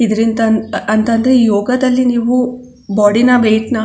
ಇದ್ರಿಂದ ಅ ಅಂತ ಅಂದ್ರೆ ಯೋಗದಲ್ಲಿ ನೀವು ಬೋಡಿನ ವೆಯಿಟ್ ನ --